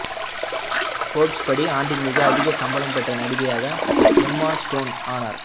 Forbes படி ஆண்டின் மிக அதிக சம்பளம் பெற்ற நடிகையாக எம்மா ஸ்டோன் ஆனார்